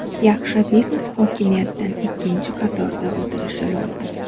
Yaxshi biznes hokimiyatdan ikkinchi qatorda o‘tirishi lozim.